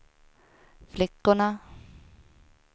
flickorna